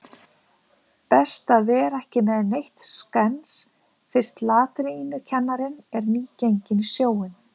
Best að vera ekki með neitt skens fyrst latínukennarinn er nýgenginn í sjóinn.